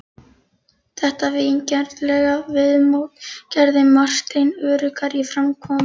Þetta vingjarnlega viðmót gerði Martein öruggari í framkomu.